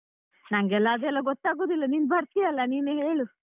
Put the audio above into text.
ನಂಗೆಲ್ಲ ಅದೆಲ್ಲ ಗೊತ್ತಾಗುದಿಲ್ಲನೀನ್ ಬರ್ತೀಯಲ್ಲ ನೀನೇ ಹೇಳು.